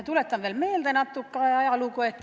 Tuletan meelde natuke ajalugu.